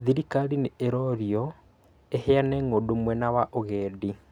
Thirikari nĩ ĩrorio ĩheane ng'ũndũ mwena wa ũgendi